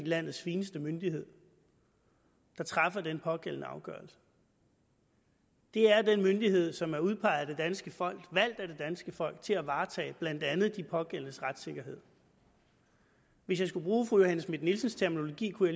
landets fineste myndighed der træffer den pågældende afgørelse det er den myndighed som er udpeget af det danske folk valgt af det danske folk til at varetage blandt andet de pågældendes retssikkerhed hvis jeg skulle bruge fru johanne schmidt nielsens terminologi kunne